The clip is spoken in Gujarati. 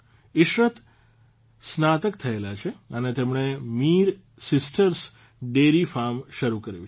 ઇશરત સ્નાતક થયેલા છે અને તેમણે મીર સીસ્ટર્સ ડેરી ફાર્મ શરૂ કર્યું છે